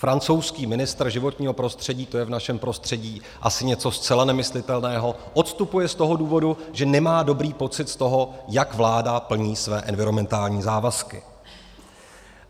Francouzský ministr životního prostředí, to je v našem prostředí asi něco zcela nemyslitelného, odstupuje z toho důvodu, že nemá dobrý pocit z toho, jak vláda plní své environmentální závazky.